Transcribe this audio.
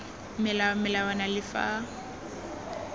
melao le melawana le fa